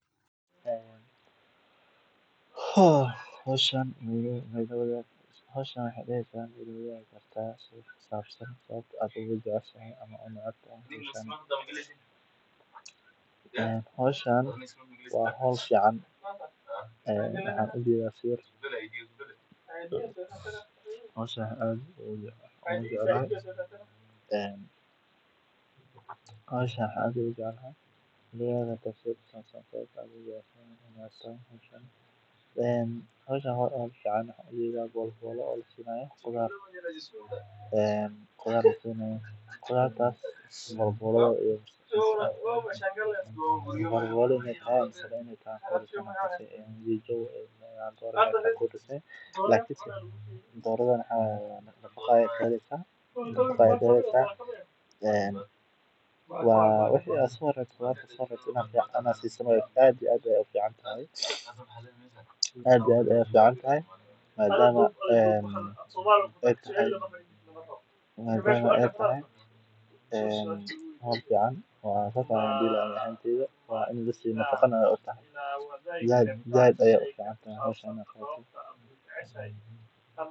Haa bahashan waxaana noloshooda ku tiirsan wax-soosaarka ay ka helaan dhulka. Marka la sameeyo hawlo taageera ama horumariya beeraha, waxay kor u qaadaysaa wax-soosaarka, taas oo keenta in la helo cunto ku filan, shaqo-abuur, iyo horumar dhaqaale. Intaa waxaa dheer, bulshada inteeda kale ayaa si dadban uga faa’iideysa, maadaama ay heli doonaan badeecooyin deegaanka lagu farsameeyay, taasoo yaraynaysa baahida waxyaabo dibadda laga keeno.